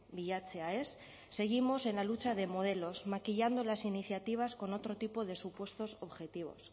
bilatzea ez seguimos en la lucha de modelos maquillando las iniciativas con otro tipo de supuestos objetivos